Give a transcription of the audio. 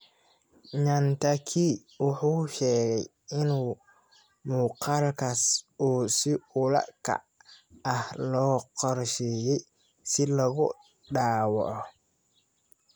Nyantakyi wuxuu sheegay in muuqaalkaas uu si ula kac ah loo qorsheeyay si loogu dhaawaco.